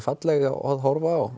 falleg á að horfa